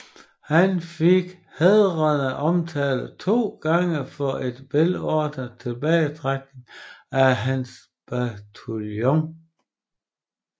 Han fik hædrende omtale to gange for en velordnet tilbagetrækning af hans bataljon